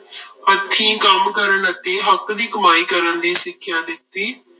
ਹੱਥੀਂ ਕੰਮ ਕਰਨ ਅਤੇ ਹੱਕ ਦੀ ਕਮਾਈ ਕਰਨ ਦੀ ਸਿੱਖਿਆ ਦਿੱਤੀ।